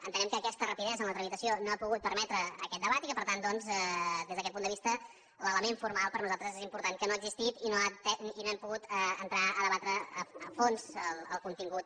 entenem que aquesta rapidesa en la tramitació no ha pogut permetre aquest debat i que per tant doncs des d’aquest punt de vista l’element formal per nosaltres és important que no ha existit i no hem pogut entrar a debatre’n a fons el contingut